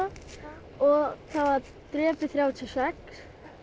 og það var drepið þrjátíu og sex